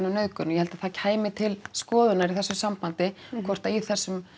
um nauðgun og ég held að það kæmi til skoðunar í þessu sambandi hvort að í þessum